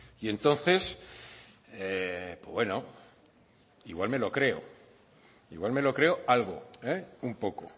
y entonces bueno igual me lo creo igual me lo creo algo un poco